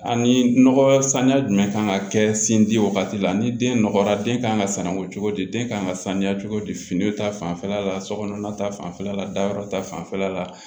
Ani nɔgɔ saniya jumɛn kan ka kɛ sin di wagati la ni den nɔgɔra den kan ka sanango cogo di den kan ka sanuya cogo di fini ta fanfɛla la sokɔnɔna ta fanfɛla la dayɔrɔ ta fanfɛla la